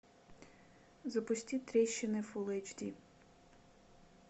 запусти трещины фул эйч ди